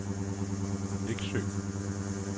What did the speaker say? Neksø